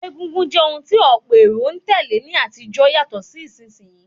Egúngún jẹ́ ohun tí ọ̀pọ̀ èrò n tèlé ní àtijó yàtọ̀ sí ìsinsìn yii